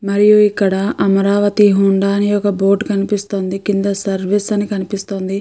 అమరియు ఇక్కడ అమరావతి హోండా అని బోర్డు కనిపిస్తుంది. కింద సర్వీస్ అని కనిపిస్తోంది.